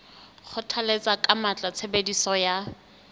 kgothalletsa ka matla tshebediso ya